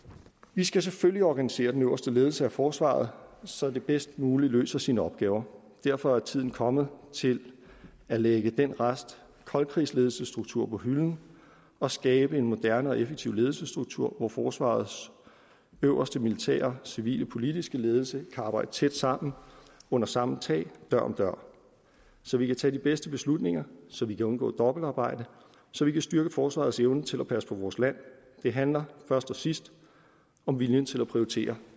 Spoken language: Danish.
vi skal selvfølgelig organisere den øverste ledelse af forsvaret så det bedst muligt løser sine opgaver derfor er tiden kommet til at lægge den rest koldkrigsledelsesstruktur på hylden og skabe en moderne og effektiv ledelsesstruktur hvor forsvarets øverste militære civile politiske ledelse kan arbejde tæt sammen under samme tag dør om dør så vi kan tage de bedste beslutninger så vi kan undgå dobbeltarbejde så vi kan styrke forsvarets evne til at passe på vores land det handler først og sidst om viljen til at prioritere